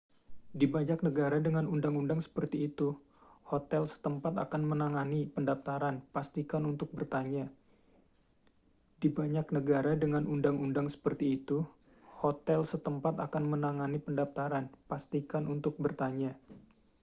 di banyak negara dengan undang-undang seperti itu hotel setempat akan menangani pendaftaran pastikan untuk bertanya